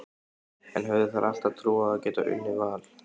En höfðu þær alltaf trú á að geta unnið Val?